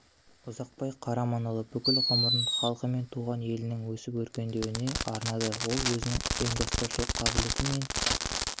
ұзақбай қараманұлы бүкіл ғұмырын халқы мен туған елінің өсіп-өркендеуіне арнады ол өзінің зор ұйымдастырушылық қабілеті мен